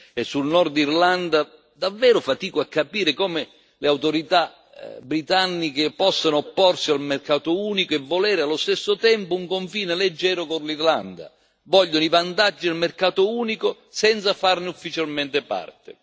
E sull'Irlanda del Nord davvero fatico a capire come le autorità britanniche possano opporsi al mercato unico e volere allo stesso tempo un confine leggero con l'Irlanda vogliono i vantaggi del mercato unico senza farne ufficialmente parte!